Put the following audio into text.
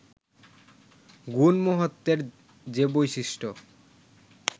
গুণ-মাহাত্ম্যের যে বৈশিষ্ট্য